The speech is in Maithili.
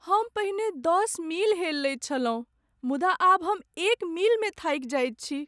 हम पहिने दश मील हेलि लैत छलहुँ मुदा आब एक मीलमे थाकि जाइत छी।